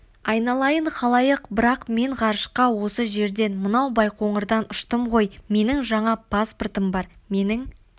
айналайын халайық бірақ мен ғарышқа осы жерден мынау байқоңырдан ұштым ғой менің жаңа паспортым бар менің